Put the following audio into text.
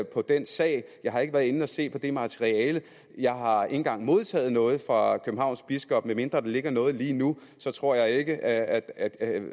på den sag jeg har ikke været inde og se på det materiale jeg har ikke engang modtaget noget fra københavns biskop medmindre der ligger noget lige nu tror jeg ikke at at